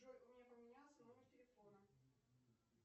джой у меня поменялся номер телефона